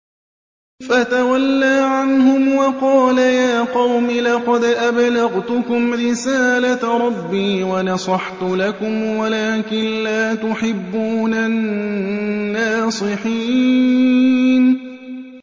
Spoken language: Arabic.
فَتَوَلَّىٰ عَنْهُمْ وَقَالَ يَا قَوْمِ لَقَدْ أَبْلَغْتُكُمْ رِسَالَةَ رَبِّي وَنَصَحْتُ لَكُمْ وَلَٰكِن لَّا تُحِبُّونَ النَّاصِحِينَ